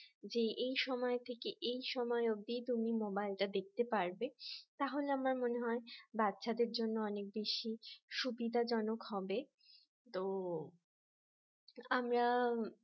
যে এই সময় থেকে এই সময়ে অবধি তুমি মোবাইলটা দেখতে পারবে তাহলে আমার মনে হয় বাচ্চাদের জন্য অনেক বেশি সুবিধা জনক হবে তো আমরা